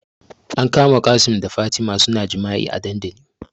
An kama Qassim da Fatima suna jima'i a dandali